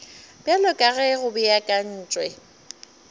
bjalo ka ge go beakantšwe